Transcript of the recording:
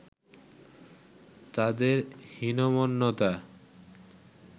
তাদের হীনমন্যতা